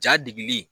Ja degili